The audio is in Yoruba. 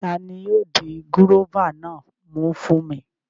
Tani yóò di gúróvà náà mú fún mi?